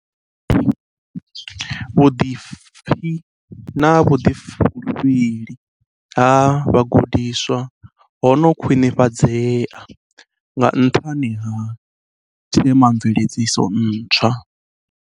Vho Dlengane vha ri, vhuḓipfi na vhuḓifulufheli ha vhagudiswa ho no khwinifhadzea nga nṱhani ha themamveledziso ntswa.